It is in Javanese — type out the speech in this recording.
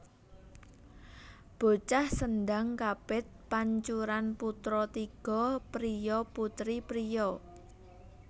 Bocah Sendhang kapit pancuran putra tiga priya putri priya